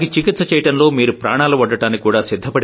వారికి చికిత్స చేయడంలో మీరు ప్రాణాలు ఒడ్డడానికి కూడా